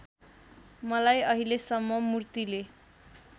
मलाई अहिलेसम्म मूर्तिले